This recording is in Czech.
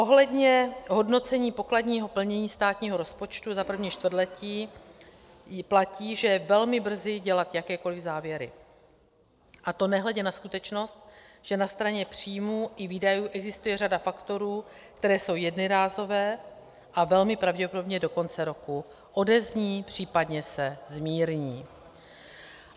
Ohledně hodnocení pokladního plnění státního rozpočtu za první čtvrtletí platí, že je velmi brzy dělat jakékoli závěry, a to nehledě na skutečnost, že na straně příjmů i výdajů existuje řada faktorů, které jsou jednorázové a velmi pravděpodobně do konce roku odezní, případně se zmírní.